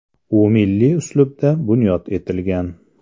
U milliy uslubda bunyod etilgan .